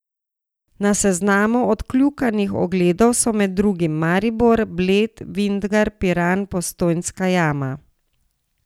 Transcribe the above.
Na seznamu odkljukanih ogledov so med drugim Maribor, Bled, Vintgar, Piran, Postojnska jama ...